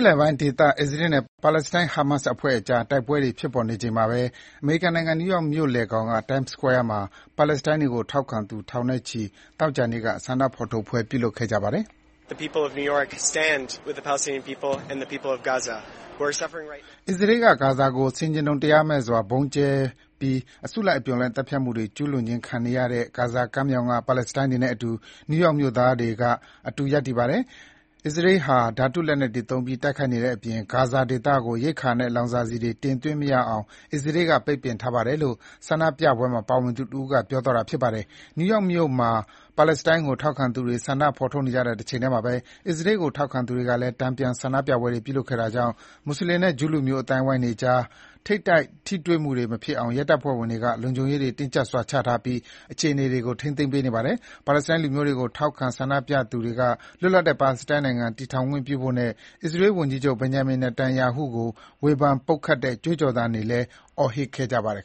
လယ်ပိုင်းဒေသ အစ္စရေးနဲ့ ပါလက်စတိုင်း ဟာမတ် အဖွဲ့အကြား တိုက်ပွဲတွေ ဖြစ်ပေါ်နေချိန်မှာဘဲ အမေရိကန်နိုင်ငံ၊ နယူးယောက်မြို့လယ်ခေါင်က Time Square မှာ ပါလက်စတိုင်းတွေကို ထောက်ခံသူ ထောင်နဲ့ချီ သောကြာနေ့က ဆန္ဒဖော်ထုတ်ပွဲ ပြုလုပ်ခဲ့ကြပါတယ်။ “အစ္စရေးက ဂါဇာကို ဆင်ခြင်တုံတရားမဲ့စွာ ဗုံးကျဲပြီး အစုလိုက်အပြုံလိုက် သတ်ဖြတ်မှု ကျူးလွန်ခြင်းခံနေရတဲ့ ဂါဇာကမ်းမြောင်က ပါလက်စတိုင်းတွေနဲ့အတူ နယူးယောက်မြို့သားတွေက အတူရပ်တည်နေပါတယ်။ အစ္စရေးဟာ ဓါတုလက်နက်တွေသုံးပြီး တိုက်ခိုက်နေတဲ့အပြင် ဂါဇာဒေသကို ရိက္ခာနဲ့ လောင်စာဆီတွေ တင်သွင်းမရအောင် အစ္စရေးက ပိတ်ပင်ထားပါတယ်” - လို့ ဆန္ဒပြပွဲမှာ ပါဝင်သူတဦးက ပြောသွားတာပါ။ New York မြို့မှာ ပါလက်စတိုင်းကို ထောက်ခံသူတွေ ဆန္ဒဖော်ထုတ်နေကြတဲ့ တချိန်ထဲမှာဘဲ အစ္စရေးကို ထောက်ခံသူတွေကလည်း တန်ပြန် ဆန္ဒပြပွဲတွေ ပြုလုပ်ခဲ့တာကြောင့် မွတ်ဆလင်နဲ့ ဂျူးလူမျိုး အသိုင်းအဝိုင်းတွေအကြား ထိပ်တိုက် ထိတွေ့မှုတွေမဖြစ်အောင် ရဲတပ်ဖွဲ့ဝင်တွေက လုံခြုံရေးတွေတင်းကြပ်စွာချထားပြီး အခြေအနေတွေကို ထိန်းသိမ်းပေးနေပါတယ်။ ပါလက်စတိုင်းလူမျိုးတွေကို ထောက်ခံဆန္ဒပြသူတွေက လွတ်လပ်တဲ့ ပါလက်စတိုင်းနိုင်ငံ တည်ထောင်ခွင့်ပြုဖို့နဲ့ အစ္စရေး ဝန်ကြီးချုပ် Benjamin Netanyahu ကို ဝေဖန် ပုတ်ခတ်တဲ့ ကြွေးကြော်သံတွေ အော်ဟစ်ခဲ့ကြပါတယ်